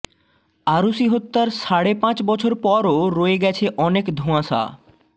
আরুষি হত্যার সাড়ে পাঁচ বছর পরও রয়ে গেছে অনেক ধোঁয়াশা